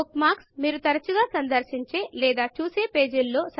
బుక్మార్క్లు మీరు తరచుగా సందర్శించే లేదా చూసే పేజీలలో